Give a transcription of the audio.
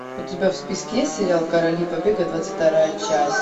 у тебя в списке есть сериал короли побега двадцать вторая часть